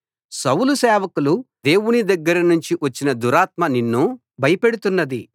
సౌలు సేవకులు దేవుని దగ్గర నుండి వచ్చిన దురాత్మ నిన్ను భయపెడుతున్నది